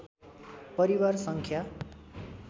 परिवार सङ्ख्या